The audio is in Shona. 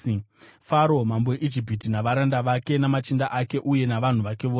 Faro mambo weIjipiti, navaranda vake, namachinda ake uye navanhu vake vose,